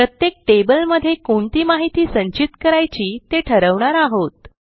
प्रत्येक टेबलमध्ये कोणती माहिती संचित करायची ते ठरवणार आहोत